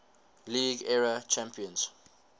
league era champions